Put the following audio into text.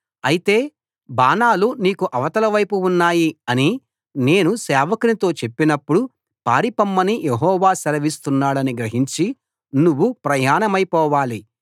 అయితే బాణాలు నీకు అవతల వైపు ఉన్నాయి అని నేను సేవకునితో చెప్పినప్పుడు పారిపొమ్మని యెహోవా సెలవిస్తున్నాడని గ్రహించి నువ్వు ప్రయాణమైపోవాలి